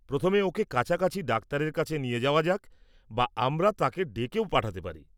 প্রথমে ওঁকে কাছাকাছির ডাক্তারের কাছে নিয়ে যাওয়া যাক, বা আমরা তাঁকে ডেকেও পাঠাতে পারি।